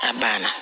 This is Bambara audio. A banna